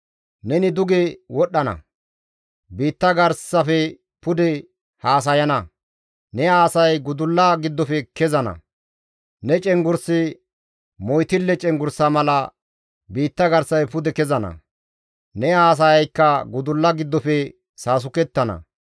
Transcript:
Neni duge wodhdhana; biitta garsafe pude haasayana; ne haasayay gudullaa giddofe kezana; ne cenggurssi moytille cenggurssa mala biitta garsafe pude kezana; ne haasayaykka gudulla giddofe saasukettana.